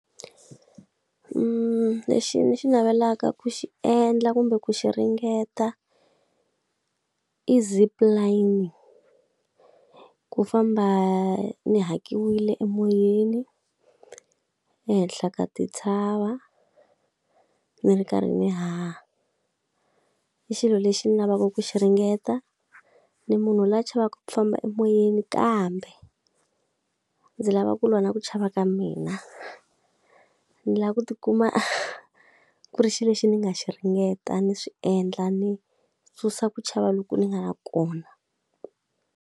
lexi ni xi navelaka ku xi endla kumbe ku xi ringeta i zipline. Ku famba yi hakiwile emoyeni, ehenhla ka tintshava ni ri karhi ni haha. I xilo lexi ni lavaka ku xi ringeta. Ni munhu loyi a chavaka ku famba emoyeni kambe ndzi lava ku lwa na ku chava ka mina. Ni lava ku tikuma ku ri xilo lexi ni nga xi ringeta, ni swi endla, ni susa ku chava loku ni nga na kona.